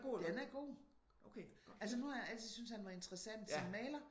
Den er god. Altså nu har jeg altid syntes at han var interessant som maler